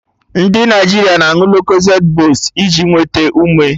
Ndị Naịjirịa na aṅụ Locozed boost iji nwete ume